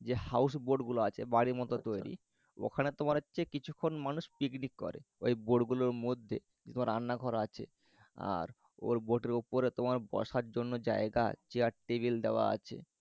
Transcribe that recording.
যে house boat গুলো আছে বাড়ি মতন তৈরি ওখানে তোমার হচ্ছে কিছুক্ষণ মানুষ picnic করে ঐ boat গুলোর মধ্যে তোমার রান্নাঘর আছে। আর ওর boat এর উপরে তোমার বসার জন্য জায়গা আছে চেয়ার টেবিল দেওয়া আছে।